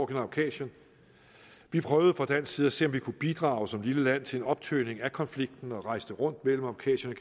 kaukasien vi prøvede fra dansk side at se om vi kunne bidrage som lille land til en optøning af konflikten og rejste rundt mellem kaukasien